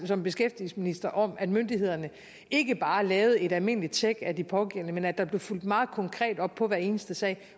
som beskæftigelsesminister faktisk om at myndighederne ikke bare lavede et almindeligt tjek af de pågældende men at der blev fulgt meget konkret op på hver eneste sag